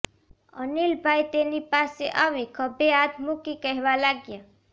અનિલભાઈ તેની પાસે આવી ખભે હાથ મૂકી કહેવા લાગ્યા